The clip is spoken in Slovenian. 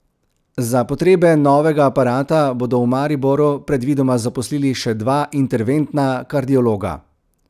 Za potrebe novega aparata bodo v Mariboru predvidoma zaposlili še dva interventna kardiologa.